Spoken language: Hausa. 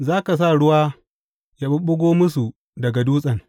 Za ka sa ruwa ya ɓuɓɓugo musu daga dutsen.